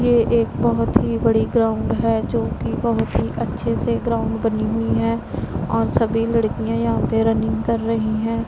ये एक बहोत ही बड़ी ग्राउंड है जोकि बहोत ही अच्छे से ग्राउंड बनी हुई है और सभी लड़कियां यहां पे रनिंग कर रही हैं।